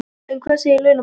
En hvað segir launafólk?